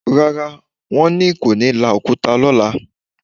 Rárá, wọn kò ní la òkúta lọ́la